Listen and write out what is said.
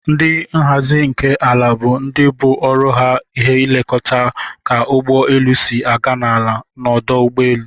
Ndi nhazi nke ala bu ndi obu ọrụ ha elekọta ka ụgbọ elu si aga n'ala n'ọdụ ụgbọ elu.